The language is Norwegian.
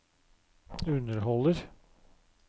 underholder